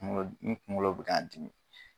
Kuŋolo n kuŋolo be ka n dimi